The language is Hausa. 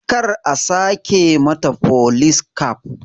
Kar a sake mata folis kaf